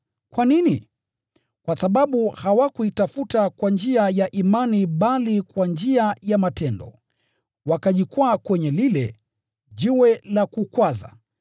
Kwa nini? Kwa sababu hawakuitafuta kwa njia ya imani bali kwa njia ya matendo. Wakajikwaa kwenye lile “jiwe la kukwaza.”